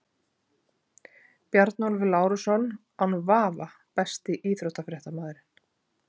Bjarnólfur Lárusson án vafa Besti íþróttafréttamaðurinn?